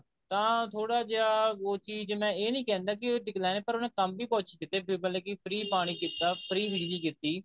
ਤਾਂ ਥੋੜਾ ਜਿਹਾ ਉਹ ਚੀਜ਼ ਮੈਂ ਇਹ ਨਹੀਂ ਕਹਿੰਦਾ ਕਿ decline ਐ ਪਰ ਉਹਨੇ ਕੰਮ ਵੀ ਕੁੱਝ ਕੀਤੇ ਮਤਲਬ ਕਿ free ਪਾਣੀ ਕੀਤਾ free ਬਿਜਲੀ ਕੀਤੀ